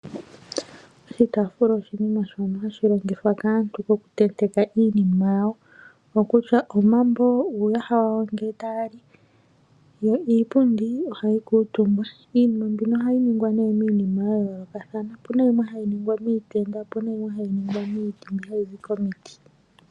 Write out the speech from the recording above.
Oshitaafula oshinima shono hashi longithwa kaantu oku tenteka iinima yawo . Kutya omambo uuyaha wayo ngele taya li . Yo iipundi ohayi kuutumbwa. Iinima mbino ohayi ningwa nee miinima ya yoolokathana. Opuna yimwe hayi ningwa miitenda opuna yimwe hayi ningwa miipilangi mbi hayi zi komiti.